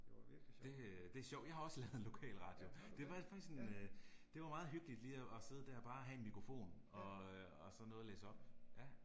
Ja. Det øh, det er sjovt, jeg har også lavet en lokalradio, det var faktisk en øh, det var meget hyggeligt lige og og sidde der bare have en mikrofon og øh og så noget at læse op, ja